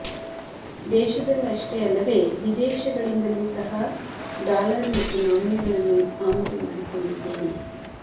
ದೇಶದಲ್ಲಷ್ಟೇ ಅಲ್ಲದೆ ವಿದೇಶಗಳಿಂದಲೂ ಸಹ ಡಾಲರ್ ಮತ್ತು ನಾಣ್ಯಗಳನ್ನು ಆಮದು ಮಾಡಿಕೊಂಡಿದ್ದೇನೆ